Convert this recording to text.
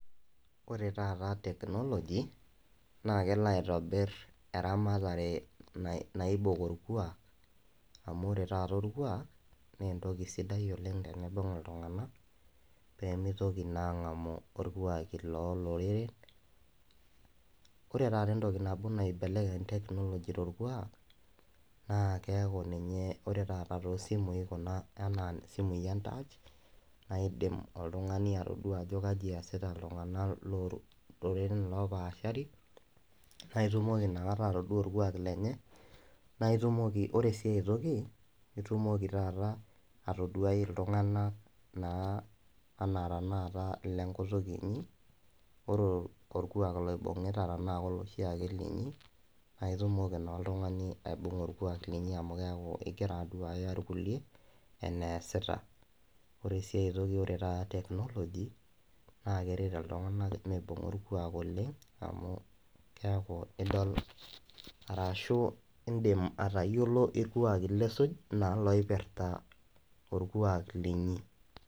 ore taata technology naa kelo atobir eramatare naibung' orkuaak, amu ore taata orkuak naa entoki sidai oleng teneibung iltunganak pee mitoki naa angamu irkuaakin loo loreren. ore taata entoki naibelekeny, technology torkuaak, na keku ninye ore taata too simui anaa ninye entaach, naa idim oltungani atodua ajo kaji eesita iltunganak loo loreren loopasari, naa itumoki inakata atodua orkuak lenye.na itumoki. ore sii aitoki itumoki taata atoduai iltunganak naa anaa, tenaata ile nkutuk inyi. ore orkuaak loibungita taa koloshiake linyi, naa itumoki naa oltungani aibnga orkuaak lenye amu ingira aduaya irkulie. enesita, ore sii ae toki ore taata technology naa keret iltunganak oleng amu, keeku idol arashu, idim atayiolo irkuaki lisuj anaa atayiolo irkuaki linyi.